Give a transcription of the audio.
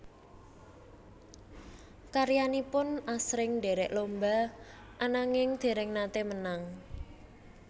Karyanipun asring ndherek lomba ananging dereng nate menang